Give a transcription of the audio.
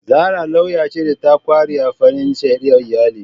Zara lauya ce da ta kware a fannin shari'ar iyali.